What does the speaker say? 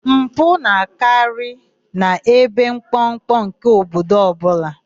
Mpụ na-akarị n'ebe mkpọmkpọ nke obodo ọbụla.